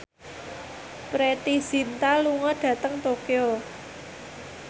Preity Zinta lunga dhateng Tokyo